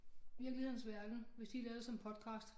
Virkelighedens verden hvis de lavet som podcast